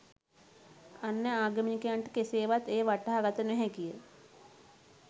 අන්‍ය ආගමිකයන්ට කෙසේවත් එය වටහා ගත නොහැකිය.